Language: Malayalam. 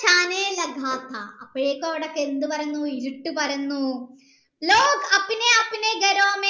ണ് അപ്പോഴൊക്കെ അവിടെക്കെ എന്ത് പരന്നു ഇരുട്ട് പരന്നു